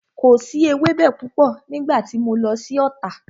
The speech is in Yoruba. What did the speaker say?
Kò si ewẹ́bẹ púpọ̀ nígbà tí mo lọ sí Ota